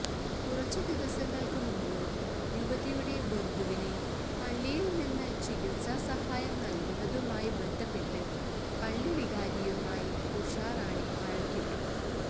കുറച്ച് ദിവസങ്ങൾക്ക് മുമ്പ് യുവതിയുടെ ബന്ധുവിന് പള്ളിയിൽ നിന്ന് ചികിത്സാ സഹായം നൽകുന്നതുമായി ബന്ധപ്പെട്ട് പള്ളി വികാരിയുമായി ഉഷാറാണി വഴക്കിട്ടു